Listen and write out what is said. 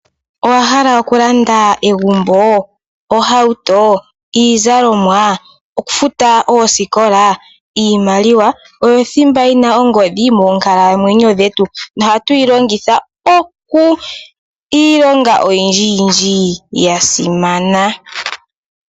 Owa hala okulanda egumbo? Ohauto? Iizalomwa? Okufuta oosikola? Iimaliwa, oyo thimba yina ongodhi moonkalamweyo dhetu, nohatu yi longitha iilonga oyindji yindji ya simana.